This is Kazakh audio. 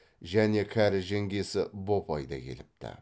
және кәрі жеңгесі бопай да келіпті